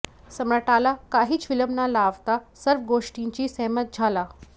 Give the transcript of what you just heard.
सम्राटाला काहीच विलंब न लावता सर्व गोष्टींशी सहमत झाला